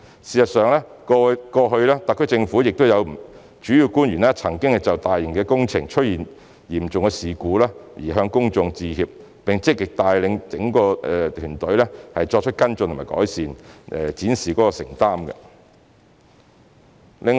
事實上，過往特區政府亦有主要官員曾就大型工程出現嚴重事故向公眾致歉，並積極帶領整個團隊作出跟進和改善，展示他們的承擔。